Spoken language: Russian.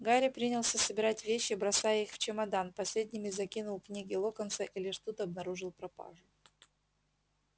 гарри принялся собирать вещи бросая их в чемодан последними закинул книги локонса и лишь тут обнаружил пропажу